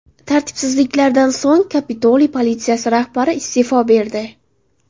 Tartibsizliklardan so‘ng, Kapitoliy politsiyasi rahbari iste’fo berdi .